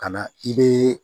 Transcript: Ka na i bɛ